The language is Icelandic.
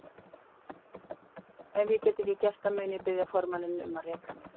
Ef ég get ekki gert það mun ég biðja formanninn um að reka mig.